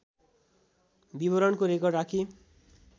विवरणको रेकर्ड राखी